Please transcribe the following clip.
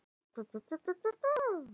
Snjóþekja er á Lyngdalsheiði